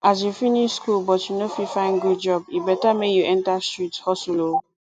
as you finish school but no fit find good job e better make you enter street hustle oo